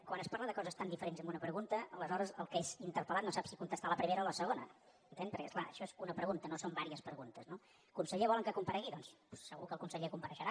quan es parla de coses tan diferents en una pregunta aleshores el que és interpel·lat no sap si contestar la primera o la segona entén perquè és clar això és una pregunta no són diverses preguntes no el conseller volen que comparegui doncs segur que el conseller compareixerà